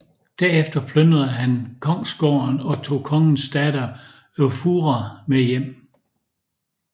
Derefter plyndrede han kongsgården og tog kongens datter Eyfura med hjem